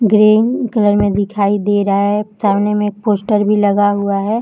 Green colour में दिखाई दे रहा है सामने में एक पोस्टर भी लगा हुआ है।